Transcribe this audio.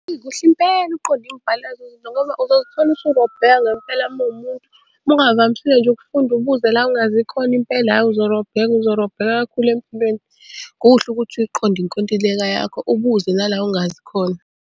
Eyi kuhle impela ukuqonda imibhalo yalezo zinto ngoba uzozithola usurobheka ngempela mawumuntu ungavamisile nje ukufunda ubuze la ungazi khona impela ayi uzorobheka uzorobheka kakhulu empilweni. Kuhle ukuthi uyiqonde inkontileka yakho ubuze nala ongazi khona.